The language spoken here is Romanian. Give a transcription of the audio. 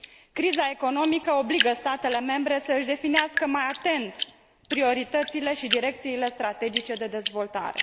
Criza economică obligă statele membre să și definească mai atent prioritățile și direcțiile strategice de dezvoltare.